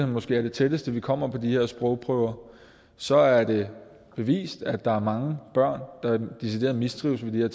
måske er det tætteste vi kommer på de her sprogprøver så er det bevist at der er mange børn der decideret mistrives med de